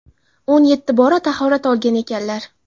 o‘n yetti bora tahorat olgan ekanlar.